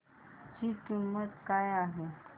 ची किंमत काय आहे